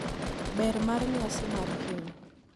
Ber mar nyasi mar keny